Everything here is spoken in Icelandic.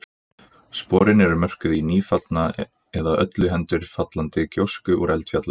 sporin eru mörkuð í nýfallna eða öllu heldur fallandi gjósku úr eldfjalli